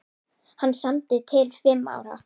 Hann samdi til fimm ára.